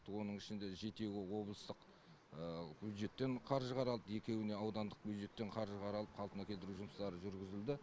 оның ішінде жетеуі облыстық бюджеттен қаржы қаралды екеуіне аудандық бюджеттен қаржы қаралып қалпына келтіру жұмыстары жүргізілді